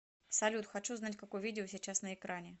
салют хочу знать какое видео сейчас на экране